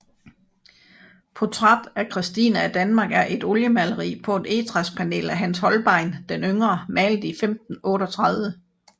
Portræt af Christine af Danmark er et oliemaleri på et egetræspanel af Hans Holbein den yngre malet i 1538